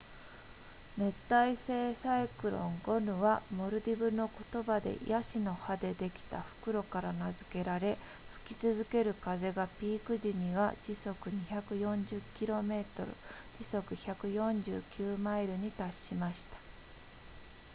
熱帯性サイクロンゴヌはモルディブの言葉でヤシの葉でできた袋から名付けられ吹き続ける風がピーク時には時速240 km 時速149マイルに達しました